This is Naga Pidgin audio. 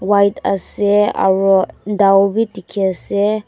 white ase aro dao b dikey ase.